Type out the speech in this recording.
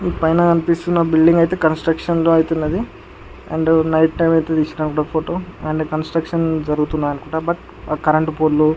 పైన కనిపిస్తున్న బిల్డింగ్ అయితే కన్స్ట్రక్షన్ అవుతున్నది అండ్ నైట్ టైం తీసిన ఫోటో అండ్ కన్స్ట్రక్షన్ జరుగుతున్నది అనుకుంట బట్ కరెంటు పోల్ --